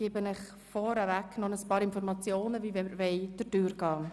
Vorgängig gebe ich Ihnen noch einige Informationen, wie wir das Geschäft behandeln wollen.